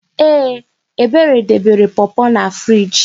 Ee! Ebere debere pọpọ na friiji.